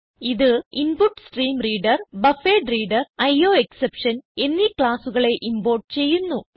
ഇത് input stream reader buffered reader IO exception എന്നീ ക്ലാസ്സുകളെ ഇംപോർട്ട് ചെയ്യുന്നു